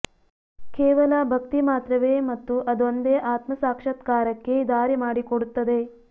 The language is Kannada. ಕೇವಲ ಭಕ್ತಿ ಮಾತ್ರವೇ ಮತ್ತು ಅದೊಂದೇ ಆತ್ಮಸಾಕ್ಷಾತ್ಕಾರಕ್ಕೆ ದಾರಿ ಮಾಡಿ ಕೊಡುತ್ತದೆ